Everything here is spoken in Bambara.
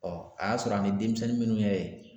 a y'a sɔrɔ a ni denmisɛnnin minnu ye yen